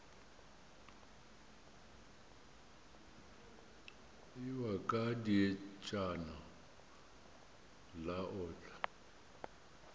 ewa ka dietšana la otla